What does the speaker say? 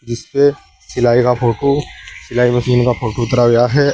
इस पे सिलाई का फोटो सिलाई मशीन का फोटो उतरा गया है।